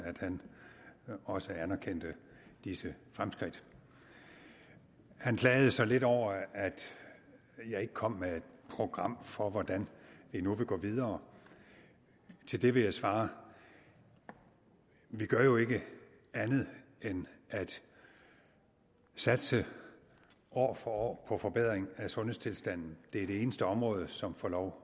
også anerkendte disse fremskridt han klagede så lidt over at jeg ikke kom med et program for hvordan vi nu vil gå videre til det vil jeg svare vi gør jo ikke andet end at satse år for år på forbedring af sundhedstilstanden det er det eneste område som får lov